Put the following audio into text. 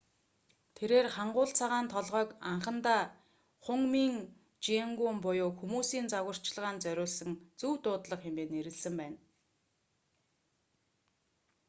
тэрээр хангул цагаан толгойг анхандаа хунмин жеонгум буюу хүмүүсийн зааварчилгаанд зориулсан зөв дуудлага хэмээн нэрлэсэн байна